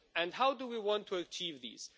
How do we want to achieve these?